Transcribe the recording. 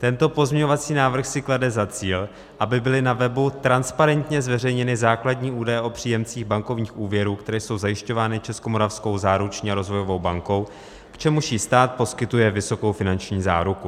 Tento pozměňovací návrh si klade za cíl, aby byly na webu transparentně zveřejněny základní údaje o příjemcích bankovních úvěrů, které jsou zajišťovány Českomoravskou záruční a rozvojovou bankou, k čemuž jí stát poskytuje vysokou finanční záruku.